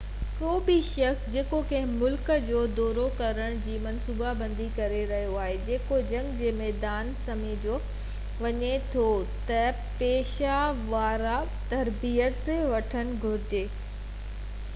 ڪو به شخص جيڪو ڪنهن ملڪ جو دورو ڪرڻ جي منصوبابندي ڪري رهيو آهي جيڪو جنگ جي ميدان سمجهيو وڃي ٿو ته پيشه ورانه تربيت وٺڻ گهرجي